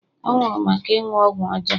ọ nwụrụ maka ịṅụ ọgwụ ọjọọ